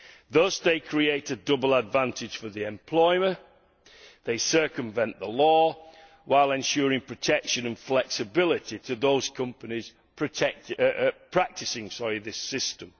Thus they create a double advantage for the employer they circumvent the law while ensuring protection and flexibility to those companies practising this system.